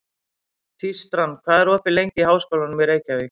Tístran, hvað er opið lengi í Háskólanum í Reykjavík?